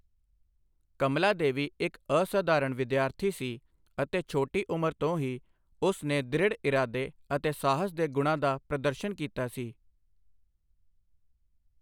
ਕਮਲਾਦੇਵੀ ਇੱਕ ਅਸਧਾਰਨ ਵਿਦਿਆਰਥੀ ਸੀ ਅਤੇ ਛੋਟੀ ਉਂਮਰ ਤੋਂ ਹੀ ਉਸ ਨੇ ਦ੍ਰਿੜ੍ਹ ਇਰਾਦੇ ਅਤੇ ਸਾਹਸ ਦੇ ਗੁਣਾਂ ਦਾ ਪ੍ਰਦਰਸ਼ਨ ਕੀਤਾ ਸੀ।